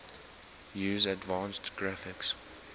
use advanced graphics